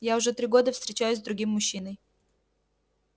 я уже три года встречаюсь с другим мужчиной